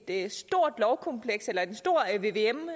en stor vvm